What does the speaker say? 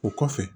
O kɔfɛ